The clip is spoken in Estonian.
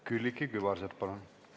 Külliki Kübarsepp, palun!